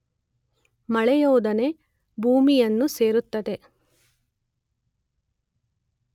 ಮಳೆಯೊಡನೆ ಭೂಮಿಯನ್ನು ಸೇರುತ್ತದೆ.